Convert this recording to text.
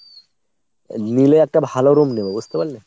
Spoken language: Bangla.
নিলে একটা ভালো room নেবো বুঝতে পারলে ?